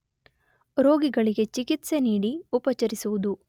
ರೋಗಿಗಳಿಗೆ ಚಿಕಿತ್ಸೆ ನೀಡಿ ಉಪಚರಿಸುವುದು